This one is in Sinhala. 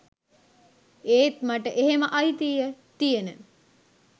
ඒත් මට එහෙම අයිතිය තියෙන